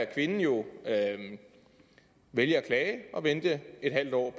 kvinden jo vælge at klage og vente et halvt år